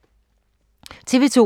TV 2